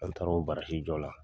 An taara o jɔ la.